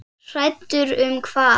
Hræddur um hvað?